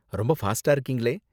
ரொம்ப ஃபாஸ்ட்டா இருக்கீங்களே!